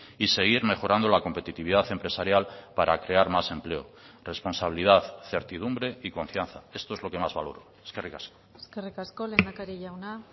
y seguir mejorando la competitividad empresarial para crear más empleo responsabilidad certidumbre y confianza esto es lo que más valoro eskerrik asko eskerrik asko lehendakari jauna